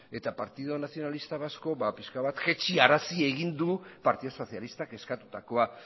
eta partido nacionalista vasco ba pixka bat jaitsarazi egin du partidu sozialistak eskatutakoa